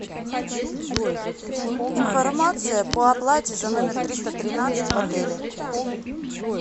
информация по оплате за номер триста тринадцать в отеле